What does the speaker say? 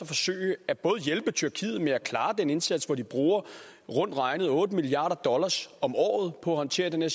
forsøge at hjælpe tyrkiet med at klare den indsats som de bruger rundt regnet otte milliard dollars om året på at håndtere